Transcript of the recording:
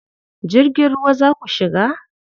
Jirgin ruwa za ku shiga?